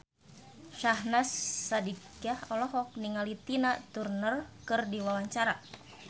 Syahnaz Sadiqah olohok ningali Tina Turner keur diwawancara